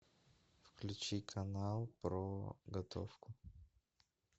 включи канал про готовку